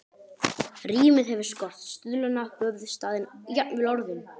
Rímið hefur skort, stuðlana, höfuðstafinn, jafnvel orðin.